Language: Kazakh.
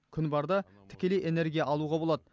күн барда тікелей энергия алуға болады